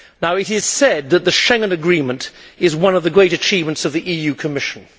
It is said that the Schengen Agreement is one of the great achievements of the EU Commission.